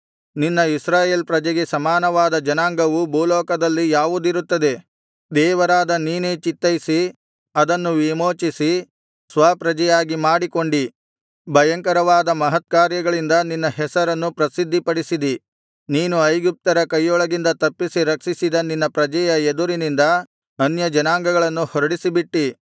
ನಿನ್ನ ಇಸ್ರಾಯೇಲ್ ಪ್ರಜೆಗೆ ಸಮಾನವಾದ ಜನಾಂಗವು ಭೂಲೋಕದಲ್ಲಿ ಯಾವುದಿರುತ್ತದೆ ದೇವರಾದ ನೀನೇ ಚಿತ್ತೈಯಿಸಿ ಅದನ್ನು ವಿಮೋಚಿಸಿ ಸ್ವಪ್ರಜೆಯಾಗಿ ಮಾಡಿಕೊಂಡಿ ಭಯಂಕರವಾದ ಮಹತ್ಕಾರ್ಯಗಳಿಂದ ನಿನ್ನ ಹೆಸರನ್ನು ಪ್ರಸಿದ್ಧಿಪಡಿಸಿದಿ ನೀನು ಐಗುಪ್ತರ ಕೈಯೊಳಗಿಂದ ತಪ್ಪಿಸಿ ರಕ್ಷಿಸಿದ ನಿನ್ನ ಪ್ರಜೆಯ ಎದುರಿನಿಂದ ಅನ್ಯಜನಾಂಗಗಳನ್ನು ಹೊರಡಿಸಿಬಿಟ್ಟಿ